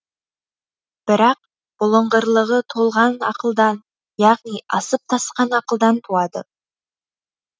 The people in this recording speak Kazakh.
бірақ бұлыңғырлығы толған ақылдан яғни асып тасқан ақылдан туады